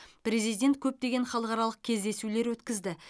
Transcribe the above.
президент көптеген халықаралық кездесулер өткізді